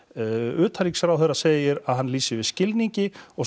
utanríkisráðherra segir að hann lýsi yfir skilningi og